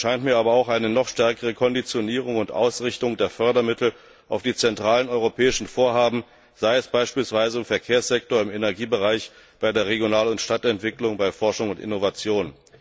Notwendig erscheint mir aber auch eine stärkere Konditionierung und Ausrichtung der Fördermittel auf die zentralen europäischen Vorhaben, sei es beispielsweise im Verkehrssektor, im Energiebereich, bei der Regional und Stadtentwicklung, bei Forschung und Innovation.